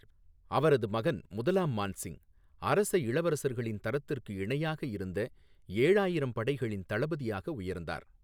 அவரது மகன் முதலாம் மான் சிங், அரச இளவரசர்களின் தரத்திற்கு இணையாக இருந்த ஏழாயிரம் படைகளின் தளபதியாக உயர்ந்தார்.